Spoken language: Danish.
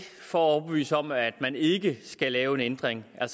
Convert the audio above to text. for at overbevise om at man ikke skal lave en ændring og at